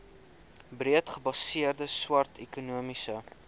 breedgebaseerde swart ekonomiese